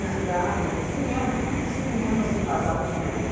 Não, cinema, em cinemas que passavam os filmes.